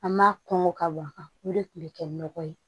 An m'a kɔn ka waga o de kun bɛ kɛ nɔgɔ ye